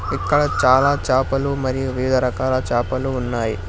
ఇంకా చాలా చాపలు మరియు వివిధ రకాల చాపలు ఉన్నాయి.